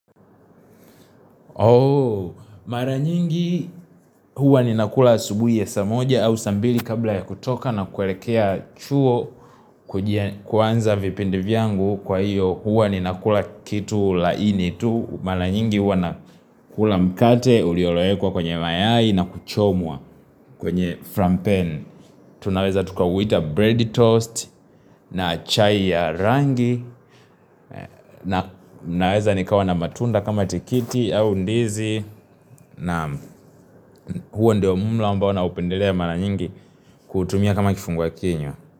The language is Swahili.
Mara nyingi huwa ninakula asubuhi ya saa moja au saa mbili kabla ya kutoka na kuelekea chuo kuanza vipindi vyangu kwa hiyo huwa ninakula kitu laini tu. Mara nyingi huwa na kula mkate ulioloekwa kwenye mayai na kuchomwa kwenye frampen. Tunaweza tukauwita bread toast na chai ya rangi Naweza nikawa na matunda kama tikiti au ndizi na huo ndio mlo ambao naupendelea ya mara nyingi kuutumia kama kifungua kinywa.